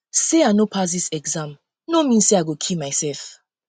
sey i no pass um dis exam um no mean sey i go kill mysef